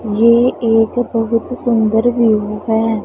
ये एक बहुत सुंदर व्यू है।